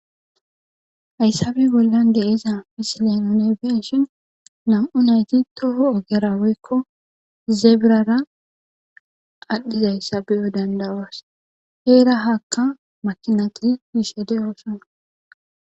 Hayssape bollan deyiza pisilen unebenshin nam'u nayti toho ogera woykko zeebirara adhdhiza hayssa biyo dandawas heera hakka makinati giishe deooson.